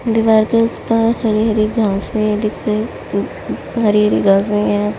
दीवार के उस पार हरी हरी घाँसें दिख रही हरी हरी घाँसें हैं ।